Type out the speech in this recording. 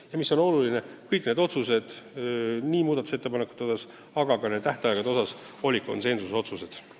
Ja mis oluline: kõik otsused muudatusettepanekute kohta olid konsensuslikud.